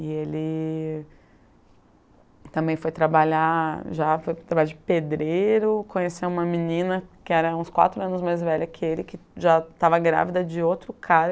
E ele também foi trabalhar já, foi trabalhar de pedreiro, conheceu uma menina que era uns quatro anos mais velha que ele, que já estava grávida de outro cara.